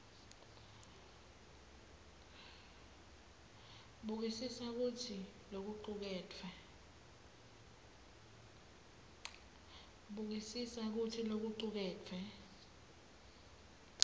bukisisa kutsi lokucuketfwe